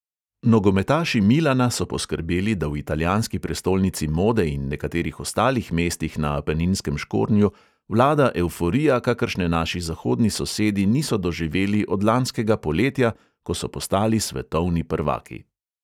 Nogometaši milana so poskrbeli, da v italijanski prestolnici mode in nekaterih ostalih mestih na apeninskem škornju vlada evforija, kakršne naši zahodni sosedi niso doživeli od lanskega poletja, ko so postali svetovni prvaki.